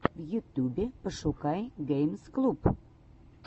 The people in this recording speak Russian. в ютюбе пошукай геймс клуб